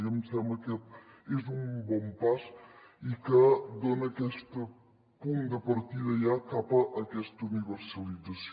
a mi em sembla que és un bon pas i que dona aquest punt de partida ja cap a aquesta universalització